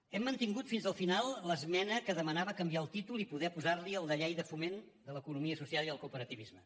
hem mantingut fins al final l’esmena que demanava canviar el títol i poder posar li el de llei de foment de l’economia social i el cooperativisme